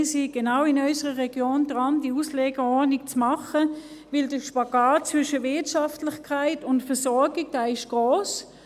Wir sind genau in unserer Region daran, diese Auslegeordnung zu machen, denn der Spagat zwischen Wirtschaftlichkeit und Versorgung ist gross.